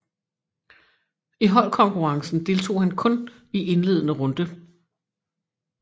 I holdkonkurrencen deltog han kun i indledende runde